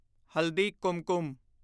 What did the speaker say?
ਹਲਦੀ ਕੁਮਕੁਮ